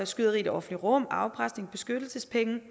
skyderi i det offentlige rum afpresning og beskyttelsespenge vil